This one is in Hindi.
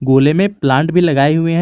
खुले में प्लांट भी लगाए हुए हैं।